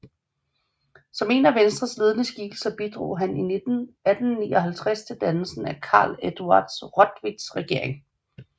Som en af Venstres ledende skikkelser bidrog han i 1859 til dannelsen af Carl Eduard Rotwitts regering